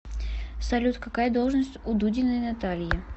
салют какая должность у дудиной натальи